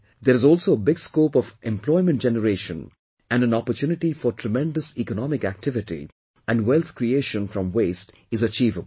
There is also a big scope of employment generation and an opportunity for tremendous economic activity and wealth creation from waste is achievable